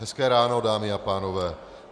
Hezké ráno, dámy a pánové.